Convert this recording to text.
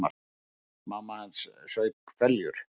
Mamma hans saup hveljur.